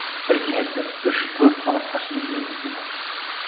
бір кеңестер үш төрт сағатқа шейін жүрген кездер болды